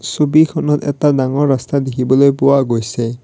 ছবিখনত এটা ডাঙৰ ৰাস্তা দেখিবলৈ পোৱা গৈছে।